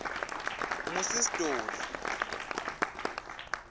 ngu sis dolly